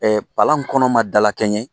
Ɛɛ palan kɔnɔ ma dalakɛɲɛ